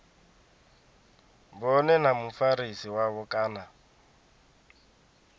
vhone na mufarisi wavho kana